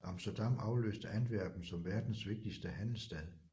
Amsterdam afløste Antwerpen som verdens vigtigste handelsstad